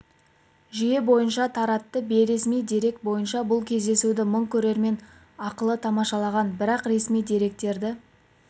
жүйе бойынша таратты бейресми дерек бойынша бұл кездесуді мың көрермен ақылы тамашалаған бірақ ресми деректерді